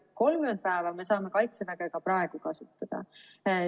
30 päeva me saame Kaitseväge ka praegu kasutada.